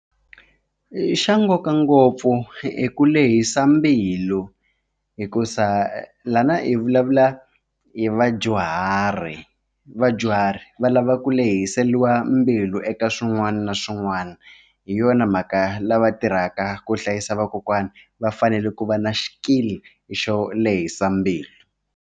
I xa nkoka ngopfu i ku lehisa mbilu hikuza lana i vulavula hi vadyuhari vadyuhari va lava ku lehiseliwa mbilu eka swin'wana na swin'wana hi yona mhaka lava tirhaka ku hlayisa vakokwani va fanele ku va na xikili xo lehisa mbilu.